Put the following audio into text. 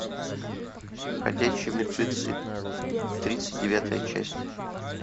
ходячие мертвецы тридцать девятая часть